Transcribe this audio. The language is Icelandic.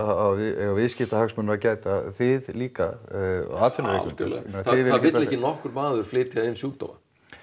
eiga viðskiptahagsmuna að gæta þið líka atvinnurekendur það vill ekki nokkur maður flytja inn sjúkdóma